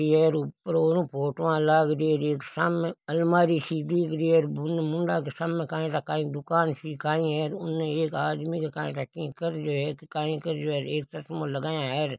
ये र ऊपर ओरु फोटो लाग रही है एक सामे अलमारी सी दिख रही है बुने मुंडाके सामे काई ठा काई दुकान सी काई है उन एक आदमी के काई ठा की कर रहियो है काई कर रहियो है एक चश्मों लगाया है र।